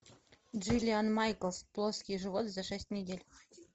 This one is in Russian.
джилиан майклс плоский живот за шесть недель